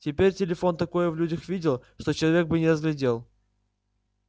теперь телефон такое в людях видел что человек бы не разглядел